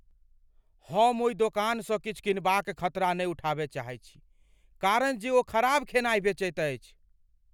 हम ओहि दोकानसँ किछु कीनबाक खतरा नहि उठाबय चाहैत छी कारण जे ओ खराब खेनाइ बेचैत अछि।